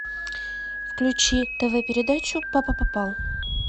включи тв передачу папа попал